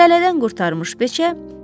Tələdən qurtarmış beçə: